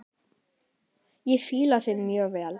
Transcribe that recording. Ég fíla það mjög vel.